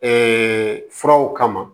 furaw kama